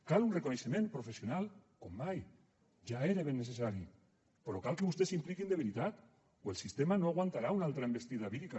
cal un reconeixement professional com mai ja era ben necessari però cal que vostès s’hi impliquin de veritat o el sistema no aguantarà una altra envestida vírica